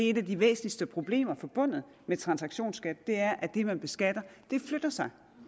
et af de væsentligste problemer forbundet med transaktionsskat er at det man beskatter flytter sig